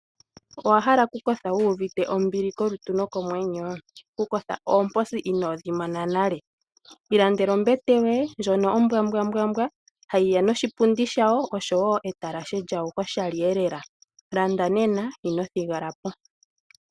Owa hala oku kotha wu uvite ombili komutima nokomwenyo? Oku kotha oomposi inoo dhi mona nale? Ilandela ombete yoye ndjono ombwa mbwa mbwa mbwa hayiya noshipundi shayo, noshowo etalashe djasho koshali elela. Landa nena ino thigala po.